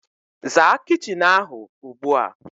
Zaa kitchin ahu ugbua